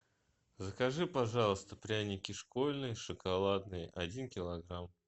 закажи пожалуйста пряники школьные шоколадные один килограмм